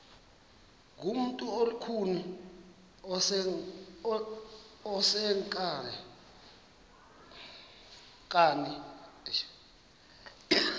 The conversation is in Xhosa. ngumntu olukhuni oneenkani